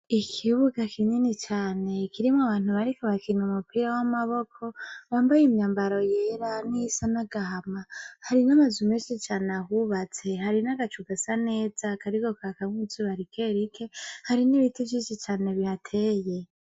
Ikibuga kinini cane kirimwo abantu bariko bakina umupira wamaboko bambaye imyambaro yera niyisa nagahama hari namazu menshi cane ahubatse hari nagacu gasa neza kariko kakamwo izuba rikerike hari nibiti vyinshi cane bihateye